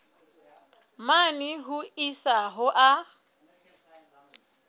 mane ho isa ho a